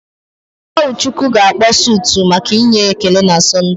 Ụọchukwu ga-akpọ sụtụ maka inye ekele na Sọnde.